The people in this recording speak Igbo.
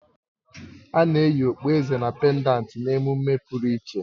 Ana eyi Okpueze na pèndanti na-emume pụrụ iche